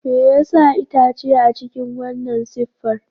Me yasa itace a cikin wannan siffar?